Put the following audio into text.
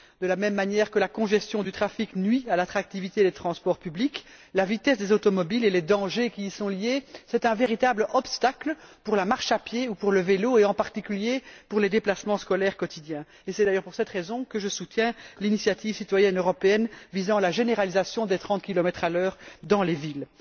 De la même manière que la congestion du trafic nuit à l'attractivité des transports publics, la vitesse des automobiles et les dangers qui y sont liés sont un véritable obstacle pour la marche à pied ou pour le vélo et, en particulier, pour les déplacements scolaires quotidiens. Et c'est d'ailleurs pour cette raison que je soutiens l'initiative citoyenne européenne visant à la généralisation des 30km h dans les villes.